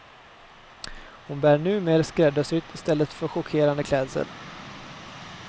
Hon bär numer skräddarsytt i stället för chockerande klädsel.